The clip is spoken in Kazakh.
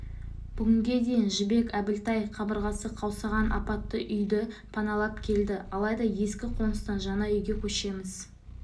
бүгінге дейін жібек әбілтай қабырғасы қаусаған апатты үйді паналап келді алайда ескі қоныстан жаңа үйге көшеміз